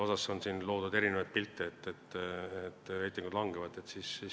Siin on loodud erinevaid pilte, nagu reitingud langeksid.